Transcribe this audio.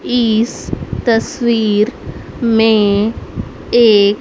इस तस्वीर में एक --